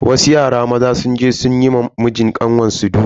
Wasu yara maza sun je sun yi wa mijin kanwar su duka.